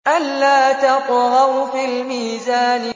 أَلَّا تَطْغَوْا فِي الْمِيزَانِ